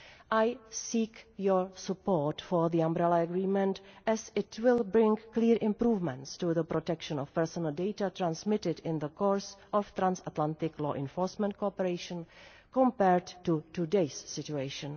I seek your support for the Umbrella Agreement as it will bring clear improvements to the protection of personal data transmitted in the course of transatlantic law enforcement cooperation compared to today's situation.